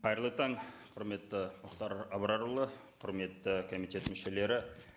қайырлы таң құрметті мұхтар абрарұлы құрметті комитет мүшелері